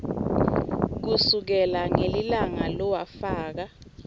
kusukela ngelilanga lowafaka